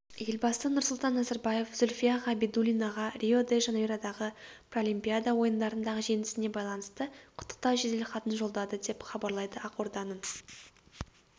елбасы нұрсұлтан назарбаев зүлфия ғабидуллинаға рио-де-жанейродағы паралимпиада ойындарындағы жеңісіне байланысты құттықтау жеделхатын жолдады деп хабарлайды ақорданың